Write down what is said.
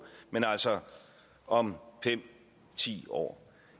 men altså om fem ti år